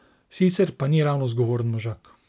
Sicer pa ni ravno zgovoren možak.